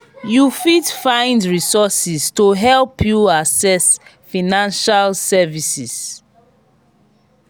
you fit find resources to help you access financial services.